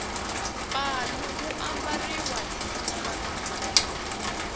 palu wu ambariwa hi tinanga